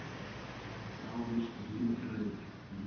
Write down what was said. Þrávirk lífræn efni